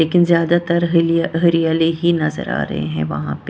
लेकिन ज्यादातर हलि हरियाले ही नजर आ रहे हैं वहां पे ।